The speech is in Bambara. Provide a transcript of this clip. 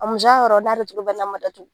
A musoya yɔrɔ n'a dutugu n'a ma datugu